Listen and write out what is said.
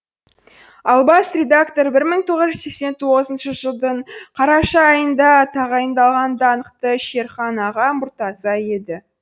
ал бас редактор бір мың тоғыз жүз сексен тоғызыншы жылдың қараша айында тағайындалған даңқты шерхан аға мұртаза еді